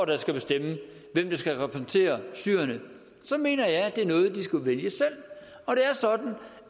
der skal bestemme hvem der skal repræsentere syrerne så mener jeg at det er noget de skal vælge selv og det er sådan